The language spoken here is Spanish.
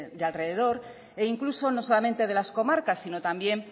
de alrededor e incluso no solamente de las comarcas sino también